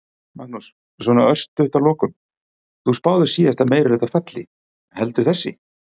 Magnús: Svona örstutt að lokum, þú spáðir síðasta meirihluta falli, heldur þessi?